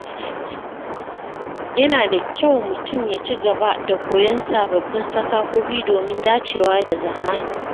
Yana da kyau mutum ya ci gaba da koyon sababbin fasahohi domin dacewa da zamani.